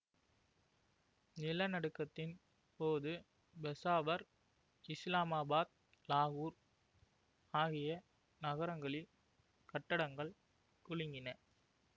நிலநடுக்கத்தின் போது பெஷாவர் இஸ்லாமாபாத் லாகூர் ஆகிய நகரங்களில் கட்டடங்கள் குலுங்கின